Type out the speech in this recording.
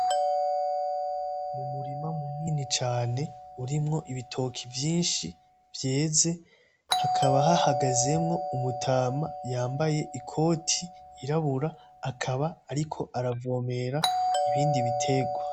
Umurima munini cane urimwo ibitoke vyinshi vyeze, hakaba hahagazemwo umutama yambaye ikoti y'irabura, akaba ariko aravomera ibindi biterwa.